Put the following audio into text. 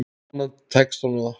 Vonandi tekst honum það.